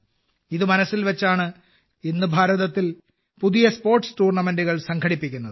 ഇത് മനസ്സിൽ വെച്ചാണ് ഇന്ന് ഭാരതത്തിൽ പുതിയ സ്പോർട്സ് ടൂർണമെന്റുകൾ സംഘടിപ്പിക്കുന്നത്